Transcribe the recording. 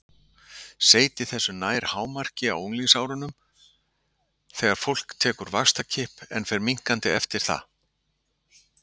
Seyti þess nær hámarki á unglingsárunum þegar fólk tekur vaxtarkipp en fer minnkandi eftir það.